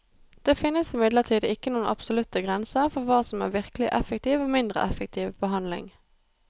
Det finnes imidlertid ikke noen absolutte grenser for hva som er virkelig effektiv og mindre effektiv behandling.